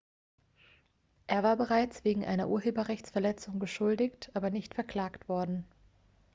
er war bereits wegen einer urheberrechtsverletzung beschuldigt aber nicht verklagt worden